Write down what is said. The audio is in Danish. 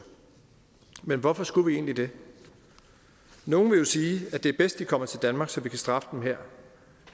men hvorfor skulle vi egentlig det nogle vil jo sige at det er bedst de kommer til danmark så vi kan straffe dem her